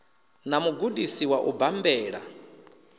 na mugudisi wa u bambela